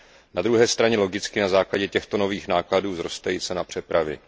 Na druhé straně logicky na základě těchto nových nákladů vzroste i cena přepravy.